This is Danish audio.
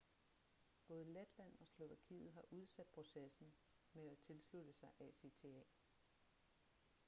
både letland og slovakiet har udsat processen med at tilslutte sig acta